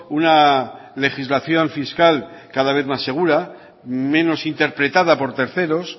una legislación fiscal cada vez más segura menos interpretada por terceros